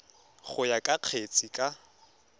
go ya ka kgetse ka